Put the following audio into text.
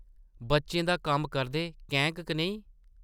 बच्चें दा कम्म करदे कैंह्क कनेही ?